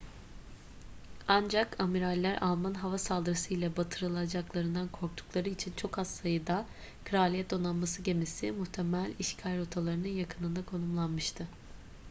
ancak amiraller alman hava saldırısı ile batırılacaklarından korktukları için çok az sayıda kraliyet donanması gemisi muhtemel işgal rotalarının yakınında konumlanmıştı